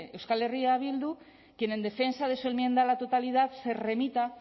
euskal herria bildu quien en defensa de su enmienda a la totalidad se remita